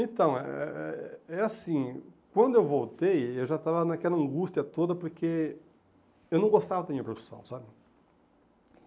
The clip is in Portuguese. Então, é é é assim, quando eu voltei, eu já estava naquela angústia toda, porque eu não gostava da minha profissão, sabe?